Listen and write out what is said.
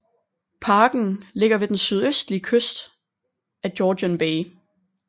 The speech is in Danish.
Parken ligger ved den sydøstlige kyst af Georgian Bay